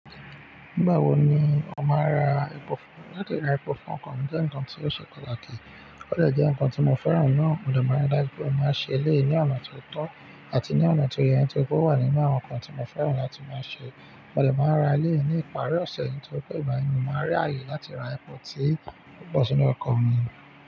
Nígbà wo ni ó máa ra epo fún-- láti ra epo fún ọkọ̀ mi jẹ́ nǹkan tí ó ṣe pataki. Óde jẹ́ nǹkan tí mo fẹ́ràn náà, mo dè máa ri daju pé mo máa ṣe eléyí ni ọ̀nà tó tọ́ àti ní ọ̀nà tó yẹ nitorií ó wà nínú àwọn nǹkan tí mo fẹ́ràn láti máa ṣe. Mo dè máa ra eléyí ni ìparí ọ̀sẹ̀ nitori pe igbà yen, ni máa rí àyè láti ra epo sí ọkọ̀ mi.